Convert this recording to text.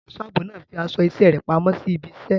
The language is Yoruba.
Ẹlẹ́ṣọ̀ ààbò náà fi aṣọ iṣẹ́ rẹ̀ pamọ́ sí ibi iṣẹ́.